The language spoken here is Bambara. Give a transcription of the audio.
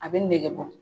A bɛ nege bɔ